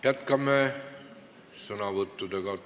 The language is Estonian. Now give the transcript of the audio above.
Jätkame sõnavõttudega.